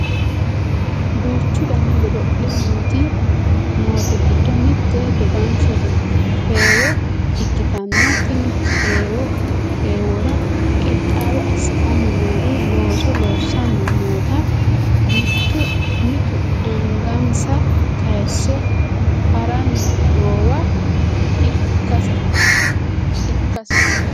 duuchu dani godo'le noote giddo mitte dodanshote heeweo ikkitanna tenne heewora qixxaawo assitanni noori looso loossaanni noota mitu angansa kayiise haranni noowa ikkasi